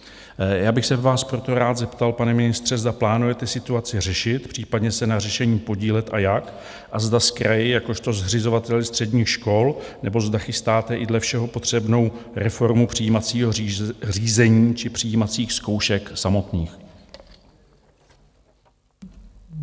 Já bych se vás proto rád zeptal, pane ministře, zda plánujete situaci řešit, případně se na řešení podílet, a jak a zda s kraji jakožto zřizovateli středních škol, nebo zda chystáte i dle všeho potřebnou reformu přijímacího řízení či přijímacích zkoušek samotných.